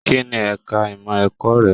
Kínní ẹka ìmọ ẹ̀kọ́ rẹ?